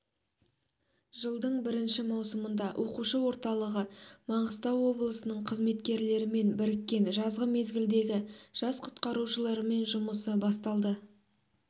жылдың бірінші маусымында оқушы орталығы маңғыстау облысы нің қызметкерлерімен біріккен жазғы мезгілдегі жас құтқарушылармен жұмысы басталды